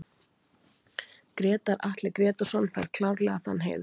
Grétar Atli Grétarsson fær klárlega þann heiður